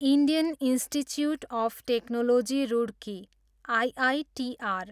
Indian Institute of Technology Roorkee, IITR